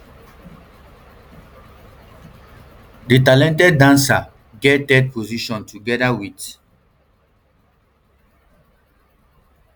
di talented dancer get third position togeda wit